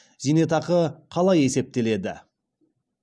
зейнетақы қалай есептеледі